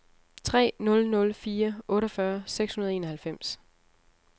tre nul nul fire otteogfyrre seks hundrede og enoghalvfems